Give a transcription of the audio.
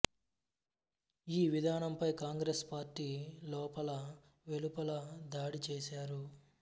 ఈ విధానంపై కాంగ్రెస్ పార్టీ లోపల వెలుపలా దాడి చేసారు